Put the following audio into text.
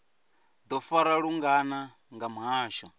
do farwa lungana nga muhasho